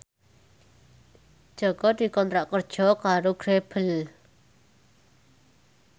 Jaka dikontrak kerja karo Grebel